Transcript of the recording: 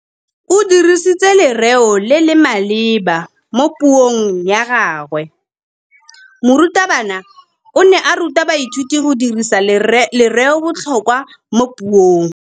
O dirisitse lerêo le le maleba mo puông ya gagwe. Morutabana o ne a ruta baithuti go dirisa lêrêôbotlhôkwa mo puong.